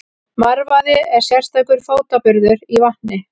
Marvaði er sérstakur fótaburður í vatni.